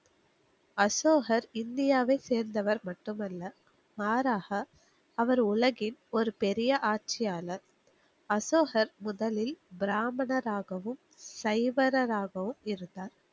அசோகர் இந்தியாவை சேர்ந்தவர் மட்டுமல்ல. மாறாக அவர் உலகின் ஒரு பெரிய ஆட்சியாளர். அசோகர் முதலில் பிராமனராகவும், சைவனராகவும் இருந்தார்.